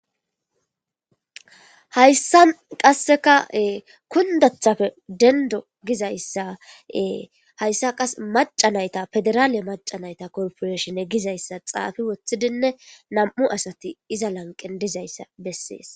Hayisan qasika kundetappe dendo gizayisa hayisanka qasi mac'a nayita pederale mac'a nayita korpireshine gizayisa xafi wotidinne na'mu asati iza LL anqen dizayisa beses